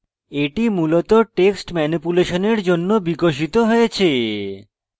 এটি মূলত text ম্যানিপুলেশনের জন্য বিকশিত হয়েছে